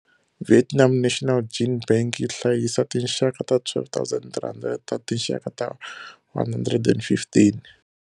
Vietnam National Gene Bank yi hlayisa tinxaka ta 12 300 ta tinxaka ta 115.